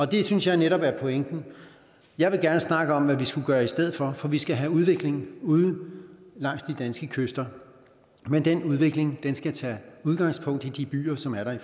det synes jeg netop er pointen jeg vil gerne snakke om hvad vi skulle gøre i stedet for for vi skal have udvikling ude langs de danske kyster men den udvikling skal tage udgangspunkt i de byer som er der i